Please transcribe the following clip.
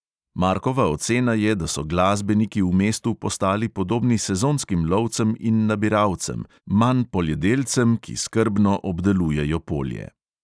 Markova ocena je, da so glasbeniki v mestu postali podobni sezonskim lovcem in nabiralcem, manj poljedelcem, ki skrbno obdelujejo polje.